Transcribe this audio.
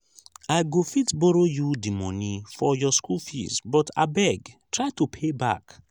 i go fit borrow you the money for your school fees but abeg try to pay back.